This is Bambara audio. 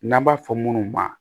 N'an b'a fɔ minnu ma